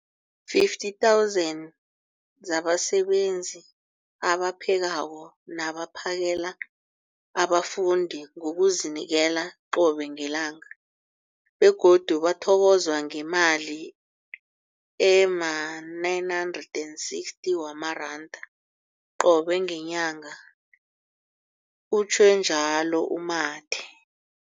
50 000 zabasebenzi abaphekako nabaphakela abafundi ngokuzinikela qobe ngelanga, begodu bathokozwa ngemali ema-960 wamaranda qobe ngenyanga, utjhwe njalo u-Mathe.